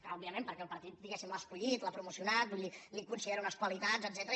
òbviament perquè el partit diguemne l’ha escollit l’ha promocionat vull dir li considera unes qualitats etcètera